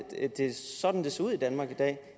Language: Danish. sådan det ser ud i danmark i dag